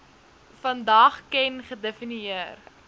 vandag ken gedefinieer